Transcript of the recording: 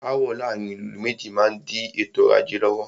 Aàwọ̀ láàárín ìlú méjì má n di ètò ọrọ̀ ajé lọ́wọ́.